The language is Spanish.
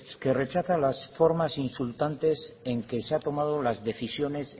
que rechaza las formas insultantes en que se han tomado las decisiones